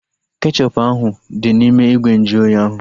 Kechọpu ahu dị n'ime ìgwè nju oyi ahu